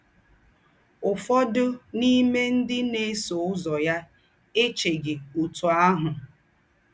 Ụ́fọ̀dụ̀ n’ímè ńdị́ ná-èsọ̀ úzọ̀ yà èchèghì ótù áhụ̀.